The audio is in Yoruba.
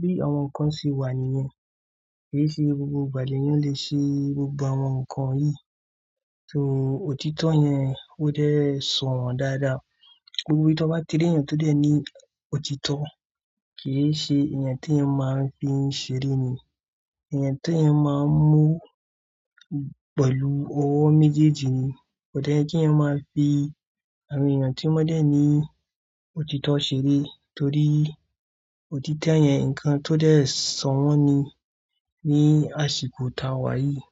bí àwọn ǹkan ṣe wà nìyẹn. Kì í ṣe gbogbo ìgbà lẹ̀ yẹn le ṣe gbogbo àwọn ǹkan yìí. So òtítọ́ yẹn ó dẹ̀ sọ wọ́n dáadáa. Gbogbo èyí tó bá ti rí ẹ̀yàn tó dẹ̀ ní òtítọ́, kì í ṣe èèyàn tí èèyàn máa ń fi ṣeré ni. Èèyàn tí èèyàn máa ń mú pẹ̀lú ọwọ́ méjèèjì ni. Ódẹ̀ ẹ kí èèyàn máa fi àwọn èèyàn tí wọ́n dẹ̀ ní òtítọ́ ṣeré torí òtítọ́ yẹn ǹkan tó dẹ̀ sọwọ́n ni, ní àsìkò tá wá yìí.